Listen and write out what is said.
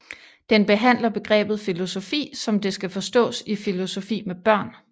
Den behandler begrebet filosofi som det skal forstås i filosofi med børn